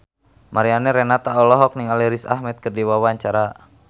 Mariana Renata olohok ningali Riz Ahmed keur diwawancara